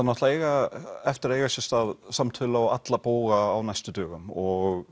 náttúrulega eftir að eiga sér stað samtöl á alla bóga á næstu dögum og